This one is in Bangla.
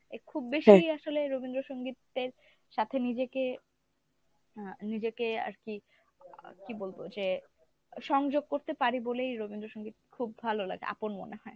এ খুব বেশি আসলে রবীন্দ্রসঙ্গীতের সাথে নিজেকে আহ নিজেকে আরকি কী বলবো যে সংযোগ করতে পারি বলেই রবীন্দ্রসঙ্গীত খুব ভালো লাগে আপন মনে হয়।